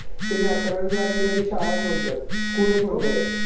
त्यांनी अकरावी बारावीला बी शाळाच म्हणतात. School च म्हणतात.